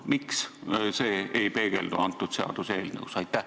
Miks see ei peegeldu antud seaduseelnõus?